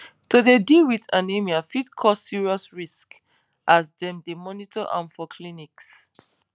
to dey deal wit anemia fit cause serious risks as dem dey monitor am for clinics